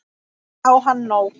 Og víst á hann nóg.